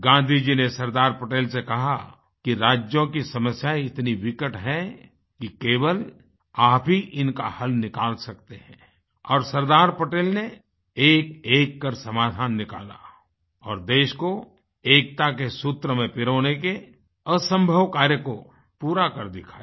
गांधी जी ने सरदार पटेल से कहा कि राज्यों की समस्याएँ इतनी विकट हैं कि केवल आप ही इनका हल निकाल सकते हैं और सरदार पटेल ने एकएक कर समाधान निकाला और देश को एकता के सूत्र में पिरोने के असंभव कार्य को पूरा कर दिखाया